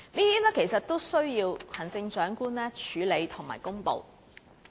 這些均須行政長官處理和公布。